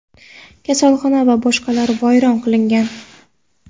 kasalxona va boshqalar vayron qilingan.